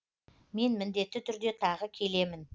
мен міндетті түрде тағы келемін